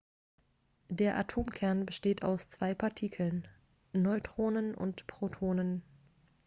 der atomkern besteht aus zwei partikeln neutronen und protonen